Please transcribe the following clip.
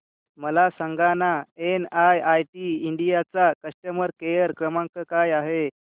मला सांगाना NIIT India चा कस्टमर केअर क्रमांक काय आहे